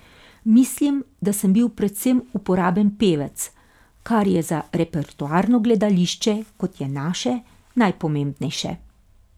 Mislim, da sem bil predvsem uporaben pevec, kar je za repertoarno gledališče, kot je naše, najpomembnejše.